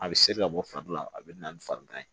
A bɛ seri ka bɔ fari la a bɛ na ni farigan ye